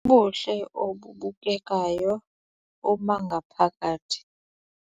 Ubuhle obubukekayo bobangaphakathi